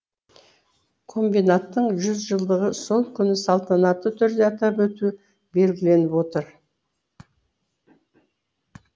комбинаттың жүзжылдығын сол күні салтанатты түрде атап өту белгіленіп отыр